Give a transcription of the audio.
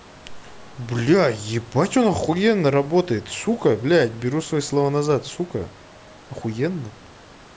блять ебать он ахуенно работает сука блять беру свои слова назад сука ахуенно